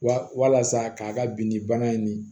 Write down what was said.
Wa walasa k'a ka bin ni bana in nin